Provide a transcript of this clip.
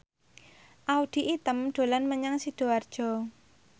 Audy Item dolan menyang Sidoarjo